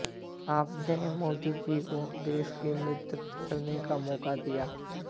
आपने मोदी जी को देश का नेतृत्व करने का मौका दिया